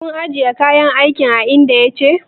Kun ajiye kayan aikin a inda ya dace?